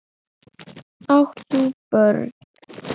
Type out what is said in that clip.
Átt þú börn?